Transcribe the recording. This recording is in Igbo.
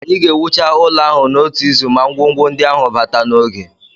Anyị ga-ewucha ụlọ ahụ n'otu izu ma ngwongwo ndị ahụ bata n'oge